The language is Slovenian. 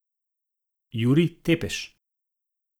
Jurij Tepeš.